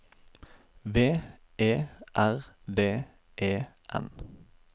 V E R D E N